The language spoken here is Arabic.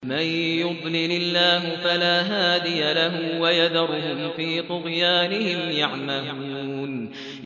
مَن يُضْلِلِ اللَّهُ فَلَا هَادِيَ لَهُ ۚ وَيَذَرُهُمْ فِي طُغْيَانِهِمْ يَعْمَهُونَ